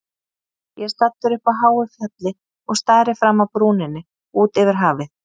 Ég er staddur uppi á háu fjalli og stari fram af brúninni út yfir hafið.